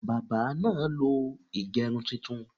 Bábà náà lo ìgẹrun titun.